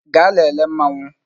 Gaa lele Mmanwu